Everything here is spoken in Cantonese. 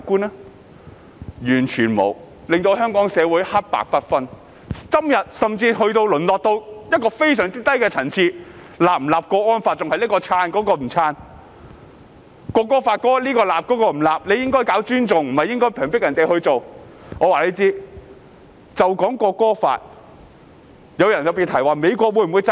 他們完全沒有，令香港社會黑白不分，今天甚至淪落至非常低的層次，仍是談誰支持、誰不支持訂立國安法，《條例草案》又是誰支持、誰不支持，說政府應令人自願尊重國歌，而不是強迫人尊重。